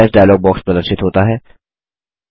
save as dialog box प्रदर्शित होता है